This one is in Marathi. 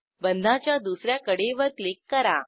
बंधाच्या दुस या कडेवर क्लिक करा